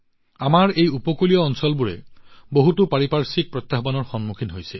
আমাৰ এই উপকূলীয় অঞ্চলবোৰে বহুতো পাৰিপাৰ্শ্বিক প্ৰত্যাহ্বানৰ সন্মুখীন হৈছে